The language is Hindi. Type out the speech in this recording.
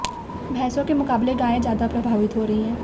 भैंसों के मुकाबले गायें ज्यादा प्रभावित हो रही हैं